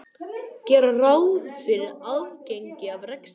Gera ráð fyrir afgangi af rekstri